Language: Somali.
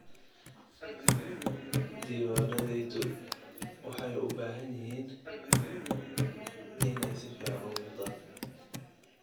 Diiwaanadayadu waxay u baahan yihiin inay si fiican u muuqdaan.